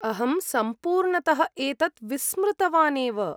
अहं सम्पूर्णतः एतत् विस्मृतवान् एव।